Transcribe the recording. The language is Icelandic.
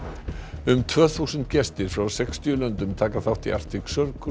um tvö þúsund gestir frá sextíu löndum taka þátt í Arctic Circle